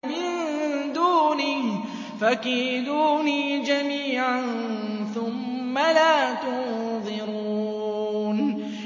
مِن دُونِهِ ۖ فَكِيدُونِي جَمِيعًا ثُمَّ لَا تُنظِرُونِ